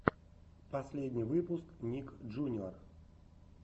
последний выпуск ник джуниор